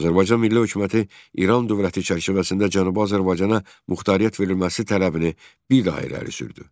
Azərbaycan Milli Hökuməti İran dövləti çərçivəsində Cənubi Azərbaycana muxtariyyət verilməsi tələbini bir daha irəli sürdü.